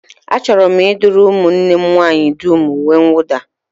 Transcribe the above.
Achọrọ m ịdụrụ ụmụnne m nwaanyị dum uwemwụda